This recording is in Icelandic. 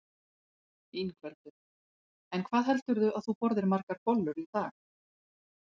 Ingveldur: En hvað heldurðu að þú borðir margar bollur í dag?